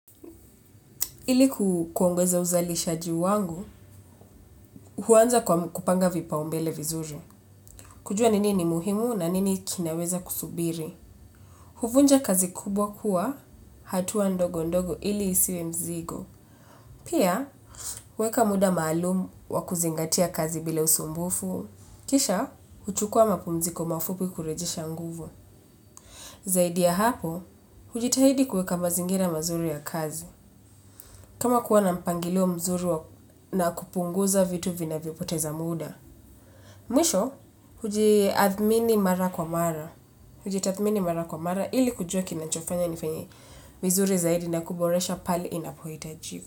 Ili kuongeza uzalishaji wangu, huanza kwa kupanga vipaumbele vizuri. Kujua nini ni muhimu na nini kinaweza kusubiri. Huvunja kazi kubwa kwa, hatua ndogo ndogo ili isiwe mzigo. Pia, huweka muda maalumu wa kuzingatia kazi bila usumbufu. Kisha, huchukuwa mapumziko mafupi kurejisha nguvu. Zaidi ya hapo, hujitahidi kuweka mazingira mazuri ya kazi. Kama kuwa na mpangilio mzuri na kupunguza vitu vinavyopoteza muda. Mwisho, hujitathmini mara kwa mara. Hujitathmini mara kwa mara, ili kujuwa kinachofanya nifanyi vizuri zaidi na kuboresha pali inapohitaji.